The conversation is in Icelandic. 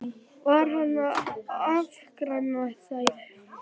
Og var hann þá að afskræma þær?